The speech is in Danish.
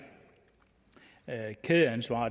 med kædeansvar